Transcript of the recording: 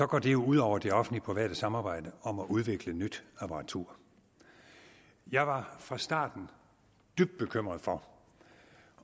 går det ud over det offentligt private samarbejde om at udvikle nyt apparatur jeg var fra starten dybt bekymret for